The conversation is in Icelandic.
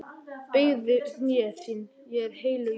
Beygðu hné þín, hér er heilög jörð.